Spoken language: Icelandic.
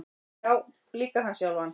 Já, líka hann sjálfan.